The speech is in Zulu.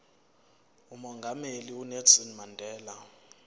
umongameli unelson mandela